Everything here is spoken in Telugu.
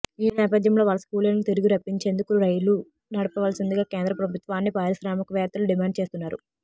ఈ నేపథ్యంలో వలస కూలీలను తిరిగి రప్పించేందుకు రైళ్లు నడపవలసిందిగా కేంద్ర ప్రభుత్వాన్ని పారిశ్రామిక వేత్తలు డిమాండు చేస్తున్నారు